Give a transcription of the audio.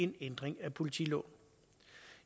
den ændring af politiloven